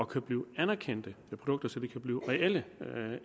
kan blive anerkendte produkter så de kan blive reelle